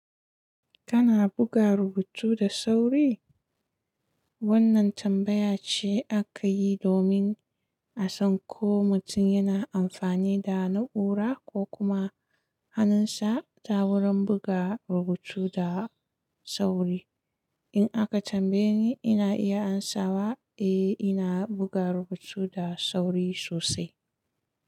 Kana buga rubutu da sauri? Wannan tambaya ce aka yi domin a san ko mutum yana amfani da na'ura ko kuma hanunsa ta wurin buga rubutu da sauri. In aka tambaye ni, ina iya amsawa, eh ina buga rubutu da sauri sosai.